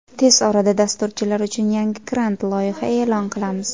Tez orada dasturchilar uchun yangi grant loyiha e’lon qilamiz.